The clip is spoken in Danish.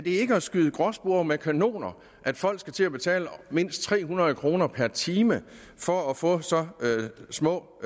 ikke at skyde gråspurve med kanoner at folk skal til at betale mindst tre hundrede kroner per time for at få så små